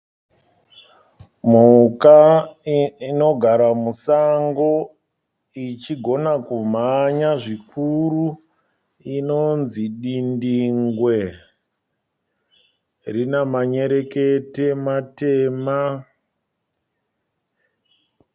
Mhuka inogara musango ichigona kumhanya zvikuru inonzi dindingwe, rina manyerekete matema.